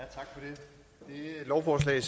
lovforslaget